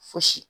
Fosi